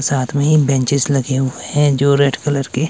साथ में ही एक बेंचेज लगे हुए हैं जो रेड कलर के--